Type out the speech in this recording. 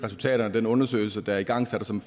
resultaterne af den undersøgelse der er igangsat og som